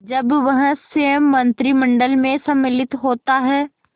जब वह स्वयं मंत्रिमंडल में सम्मिलित होता है